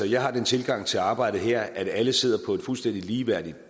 jeg har den tilgang til arbejdet her at alle sidder på et fuldstændig ligeværdigt